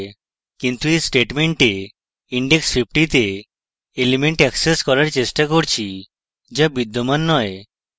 কিন্তু এই statement index 50 তে element অ্যাক্সেস করার চেষ্টা করছি যা বিদ্যমান নয়